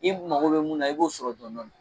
I mago bɛ mun na i b'o sɔrɔ dɔɔnin dɔɔnin